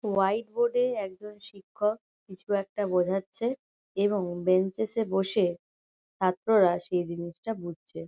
White board -এ একজন শিক্ষক কিছু একটা বোঝাচ্ছে এবং বেঞ্চেস -এ বসে ছাত্ররা সেই জিনিসটা বুঝচ্ছে।